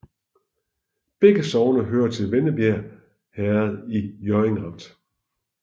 Begge sogne hørte til Vennebjerg Herred i Hjørring Amt